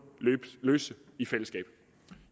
løse i fællesskab